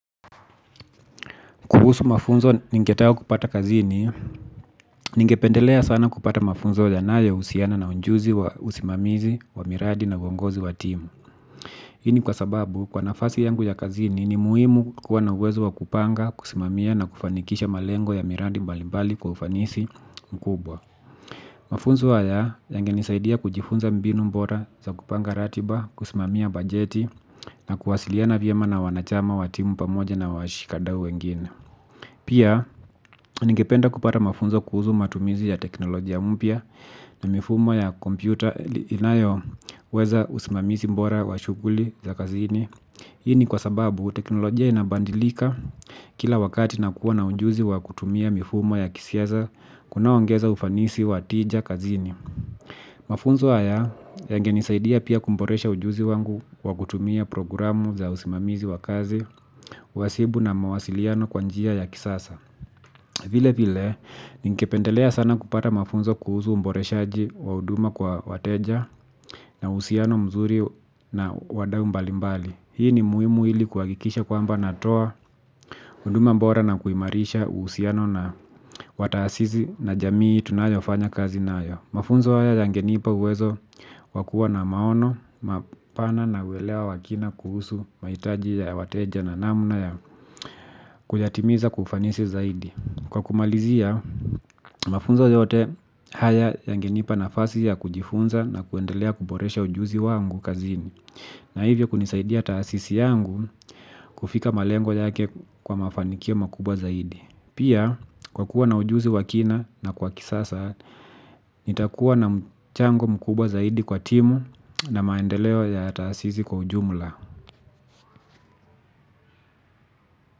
Kuhusu mafunzo ningetaka kupata kazini, ningependelea sana kupata mafunzo yanayohusiana na ujuzi wa usimamizi wa miradi na uongozi wa timu. Hii ni kwa sababu kwa nafasi yangu ya kazini ni muhimu kuwa na uwezo wa kupanga, kusimamia na kufanikisha malengo ya miradi mbalimbali kwa ufanisi mkubwa. Mafunzo haya yangenisaidia kujifunza mbinu bora za kupanga ratiba, kusimamia bajeti na kuwasiliana vyema na wanachama wa timu pamoja na washikadau wengine. Pia, ningependa kupata mafunzo kuhusu matumizi ya teknolojia mpya na mifumo ya kompyuta inayoweza usimamizi bora wa shughuli za kazini. Hii ni kwa sababu teknolojia inabandilika kila wakati na kuwa na ujuzi wa kutumia mifumo ya kisiasa kunaongeza ufanisi wa tija kazini. Mafunzo haya yangenisaidia pia kuboresha ujuzi wangu wa kutumia programu za usimamizi wa kazi wasibu na mawasiliano kwa njia ya kisasa. Vile vile, ningependelea sana kupata mafunzo kuhusu uboreshaji wa huduma kwa wateja na uhusiano mzuri na wadau mbalimbali. Hii ni muhimu ili kuhakikisha kwamba natoa huduma bora na kuimarisha uhusiano na wa taasisi na jamii tunayofanya kazi nayo. Mafunzo haya yangenipa uwezo wa kuwa na maono, mapana na uelewa wa kina kuhusu mahitaji ya wateja na namna ya kuyatimiza kwa ufanisi zaidi. Kwa kumalizia mafunzo yote haya yangenipa nafasi ya kujifunza na kuendelea kuboresha ujuzi wangu kazini. Na hivyo kunisaidia taasisi yangu kufika malengo yake kwa mafanikio makubwa zaidi. Pia kwa kuwa na ujuzi wa kina na kwa kisasa nitakuwa na mchango mkubwa zaidi kwa timu na maendeleo ya taasisi kwa ujumla.